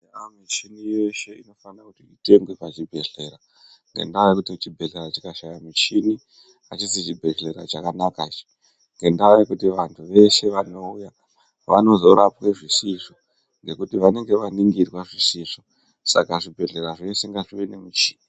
Michini yeshe inofana kuti itengwe pachibhedhlera ngendaa yekuti chibhedhlera chikashaya michini hachisi chibhedhlera chakanaka ichi. Ngendaa yekuti vantu veshe vanouya vanozorapwe zvisizvo ngekuti vanenge vaningirwa zvisizvo. Saka zvibhedhlera zveshe ngazvive nemuchini.